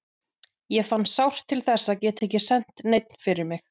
Ég fann sárt til þess að geta ekki sent neinn fyrir mig.